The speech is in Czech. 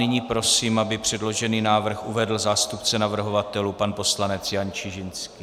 Nyní prosím, aby předložený návrh uvedl zástupce navrhovatelů, pan poslanec Jan Čižinský.